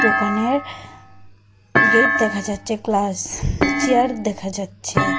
দোকানের গেইট দেখা যাচ্চে গ্লাস চেয়ার দেখা যাচ্ছে।